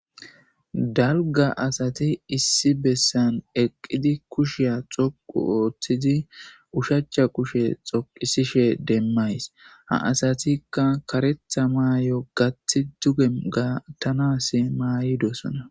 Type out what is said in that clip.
Dalga asati issi besan eqidi kushiya xoqu otidi ushacha kushe xoqisishe demays ha asatika karetha mayo gati duge gatanasi mayidosona.